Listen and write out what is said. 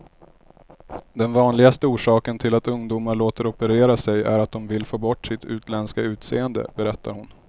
Den vanligaste orsaken till att ungdomar låter operera sig är att de vill få bort sitt utländska utseende, berättar hon.